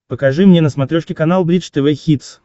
покажи мне на смотрешке канал бридж тв хитс